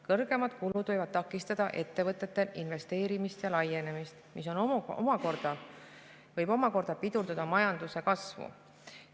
Kõrgemad kulud võivad takistada ettevõtetel investeerimist ja laienemist, mis omakorda võib pidurdada majanduskasvu.